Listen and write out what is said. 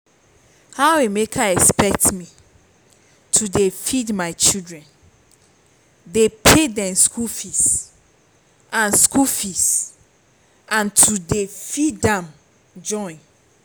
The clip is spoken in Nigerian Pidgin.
how emeka expect me to dey feed my children dey pay dem school fees and school fees and to dey feed am join